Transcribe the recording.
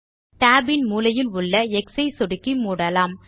tab இன் மூலையில் உள்ள எக்ஸ் ஐ சொடுக்கி மூடலாம்